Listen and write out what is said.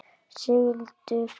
Sigldur maður.